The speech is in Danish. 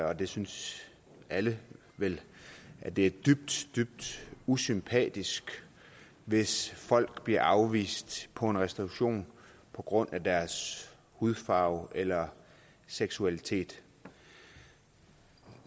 og det synes alle vel at det er dybt dybt usympatisk hvis folk bliver afvist på en restauration på grund af deres hudfarve eller seksualitet